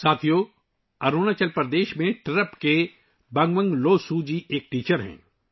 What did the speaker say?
ساتھیو، اروناچل پردیش میں تیرپ کے بنوانگ لوسو جی ایک استاد ہیں